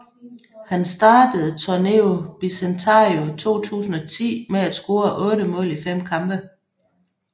Han startede Torneo Bicentenario 2010 med at score otte mål i fem kampe